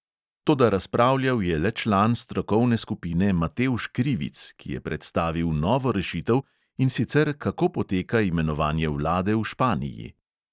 Toda razpravljal je le član strokovne skupine matevž krivic, ki je predstavil novo rešitev, in sicer kako poteka imenovanje vlade v španiji.